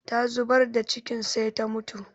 Ta zubar da cikin sai ta mutu